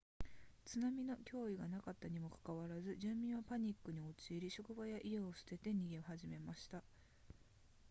津波の脅威がなかったにもかかわらず住民はパニックに陥り職場や家を捨てて逃げ始めました